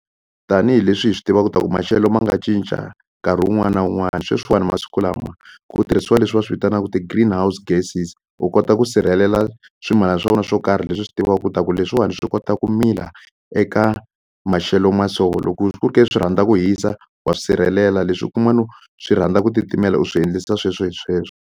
Tanihileswi hi swi tiva ku ta ku maxelo ma nga cinca nkarhi wun'wani na wun'wani sweswiwani masiku lama ku tirhisiwa leswi va swivitanaku ti-green house gases u kota ku sirhelela swa wena swo karhi leswi u swi tivaku ku ta ku leswiwani swi kota ku mila eka maxelo ma so loko ku ke swi rhandza ku hisa wa swi sirhelela leswi kun'wano swi rhandza ku titimela u swi endlisa sweswo hi sweswo.